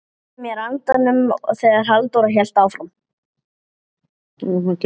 Svo er þessu lokið?